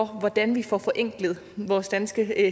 hvordan vi får forenklet vores danske